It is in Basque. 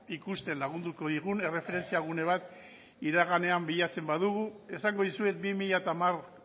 ikusten lagunduko digun erreferentzia gune bat iraganean bilatzen badugu esango dizuet bi mila hamar